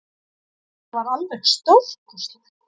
Þetta var alveg stórkostlegt